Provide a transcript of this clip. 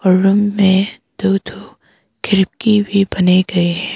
Room में दो दो खिड़की भी बने गए है।